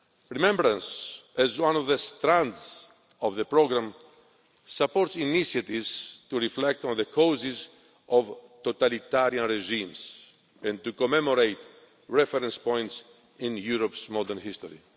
Remembrance, as one of the strands of the programme, supports initiatives to reflect on the causes of totalitarian regimes and to commemorate reference points in Europe's modern history.